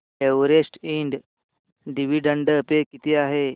Everest and dividend pay किती आहे